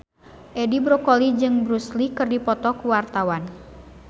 Edi Brokoli jeung Bruce Lee keur dipoto ku wartawan